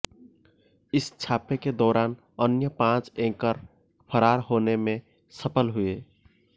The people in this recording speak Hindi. इस छापे के दौरान अन्य पांच एंकर फरार होने में सफल हुए